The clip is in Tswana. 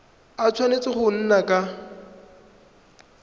a tshwanetse go nna ka